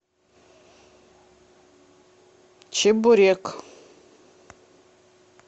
чебурек